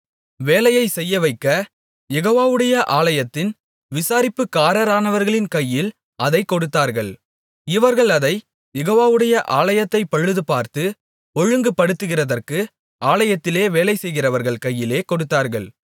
வேலையைச் செய்யவைக்க யெகோவாவுடைய ஆலயத்தின் விசாரிப்புக்காரரானவர்களின் கையில் அதைக் கொடுத்தார்கள் இவர்கள் அதைக் யெகோவாவுடைய ஆலயத்தைப் பழுதுபார்த்து ஒழுங்குபடுத்துகிறதற்கு ஆலயத்தில் வேலை செய்கிறவர்கள் கையிலே கொடுத்தார்கள்